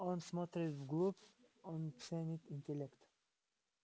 он смотрит вглубь он ценит интеллект